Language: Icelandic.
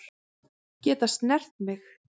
Geta snert mig.